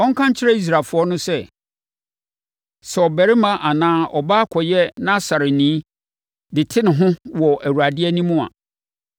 ɔnka nkyerɛ Israelfoɔ no sɛ, “Sɛ ɔbarima anaa ɔbaa kɔyɛ Nasareni de te ne ho wɔ Awurade anim a,